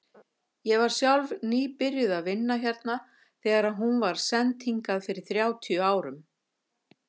Ég var sjálf nýbyrjuð að vinna hérna þegar hún var send hingað fyrir þrjátíu árum.